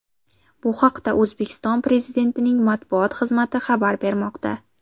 Bu haqda O‘zbekiston Pezidentining matbuot xizmati xabar bermoqda .